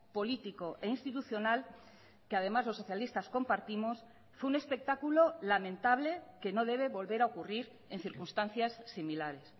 político e institucional que además los socialistas compartimos fue un espectáculo lamentable que no debe volver a ocurrir en circunstancias similares